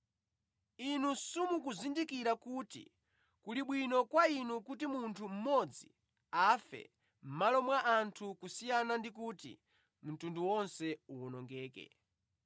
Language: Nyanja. Inu simukuzindikira kuti kuli bwino kwa inu kuti munthu mmodzi afe mʼmalo mwa anthu kusiyana ndi kuti mtundu wonse uwonongeke.”